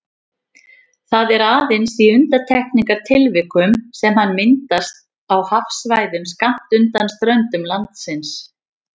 Það er aðeins í undantekningartilvikum sem hann myndast á hafsvæðum skammt undan ströndum landsins.